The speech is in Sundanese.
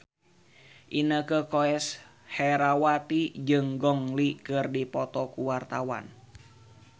Inneke Koesherawati jeung Gong Li keur dipoto ku wartawan